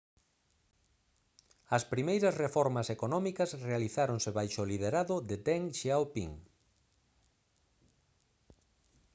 as primeiras reformas económicas realizáronse baixo o liderado de deng xiaoping